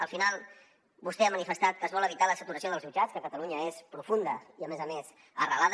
al final vostè ha manifestat que es vol evitar la saturació dels jutjats que a catalunya és profunda i a més a més arrelada